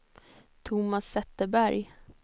Thomas Zetterberg